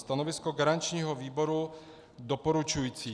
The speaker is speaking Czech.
Stanovisko garančního výboru doporučující.